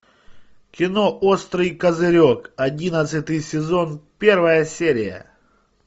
кино острый козырек одиннадцатый сезон первая серия